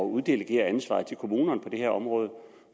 uddelegere ansvaret til kommunerne på det her område